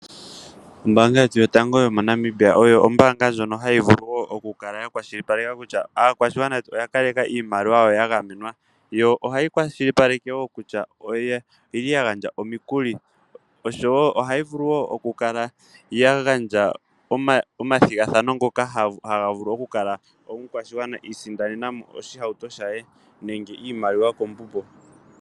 Ombaanga yetu yotango yo moNamibia oyo ombaanga ndjono hayi vulu woo okukala ya kwashilipaleke kutya aakwashigwana oya kaleka iimaliwa yawo ya gamenwa. Yo ohayi kwashilipaleke woo kutya oyeli ya gandja omikuli, osho woo ohayi vulu woo okukala ya gandja omathigathano ngoko haga vulu okukala omukwashigwana iisindanenamo oshi hauto shaye nenge iimaliwa kombubo.